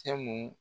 Cɛ mun